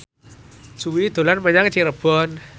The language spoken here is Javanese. Jui dolan menyang Cirebon